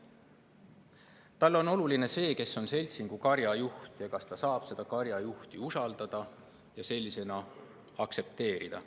Talle on oluline see, kes on seltsingukarja juht ja kas ta saab seda karjajuhti usaldada ja tänu sellele aktsepteerida.